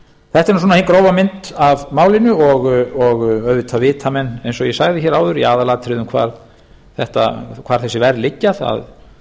þetta er svona hin grófa mynd af málinu og auðvitað vita menn eins og ég sagði hér áður í aðalatriðum hvar þessi verð liggja það